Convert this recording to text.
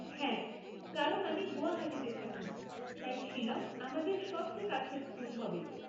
হ্যাঁ, কারণ আমি গুয়াহাটিতে থাকি, তাই শিলং আমাদের সবচেয়ে কাছের স্কুল হবে।